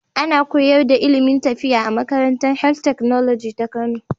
Ana koyarda ilimin lafiya a makarantar health technology ta kano